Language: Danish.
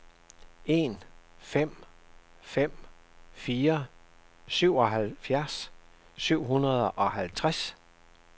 en fem fem fire syvoghalvfjerds syv hundrede og halvtreds